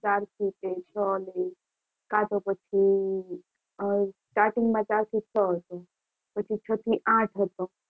ચારથી તે છો કાં તો પછી અહીં starting માં ચાર થી છ હતો પછી ચાર થી આઠ હતો.